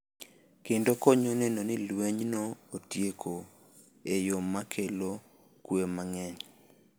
Kendo konyo neno ni lwenyno otieko e yo ma kelo kuwe mang’eny.